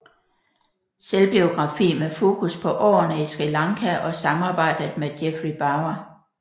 Selvbiografi med fokus på årene i Sri Lanka og samarbejdet med Jeffrey Bawa